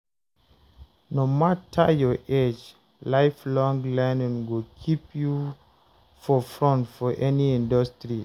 No matter your age, lifelong learning go keep you for front for any industry.